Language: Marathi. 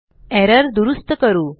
एरर दुरूस्त करू